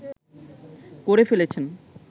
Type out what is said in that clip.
করে ফেলেছেন